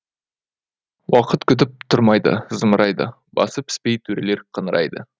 уақыт күтіп тұрмайды зымырайды басы піспей төрелер қыңырайды